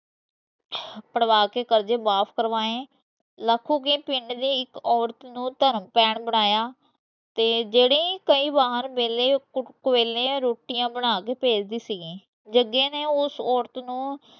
ਪੜਵਾ ਦੇ ਕਰਜੇ ਵਾਪਸ ਕਰਵਾਏ ਦੀ ਪਿੰਡ ਦੀ ਇਕ ਔਰਤ ਨੂੰ ਧਰਮ ਭੈਣ ਬਣਾਇਆ ਤੇ ਜੇਡੀ ਕਈ ਬਾਰ ਵੇਲੇ ਵੇਲੇ ਰੋਟੀਆਂ ਬਨਾਕੇ ਭੇਜਦੀ ਸੀਗੀ ਜਗੇ ਨੇ ਉਸ ਔਰਤ ਨੂੰ